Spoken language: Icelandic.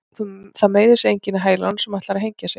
Það meiðir sig enginn í hælunum sem ætlar að hengja sig.